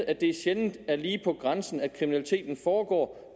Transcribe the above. at det sjældent er lige på grænsen kriminaliteten foregår